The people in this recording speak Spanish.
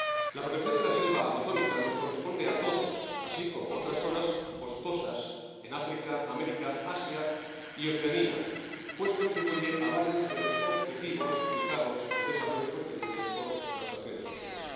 La protección de la selva amazónica nos corresponde a todos, así como otras zonas boscosas en África, América, Asia y Oceanía, pues contribuye a varios de los objetivos de desarrollo sostenible fijados por las Naciones Unidas.